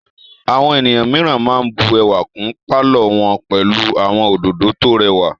Àwọn ènìyàn mìíràn máa bù ẹwà kún pálọ̀ wọn pẹlú àwọn òdòdó tó rẹwà.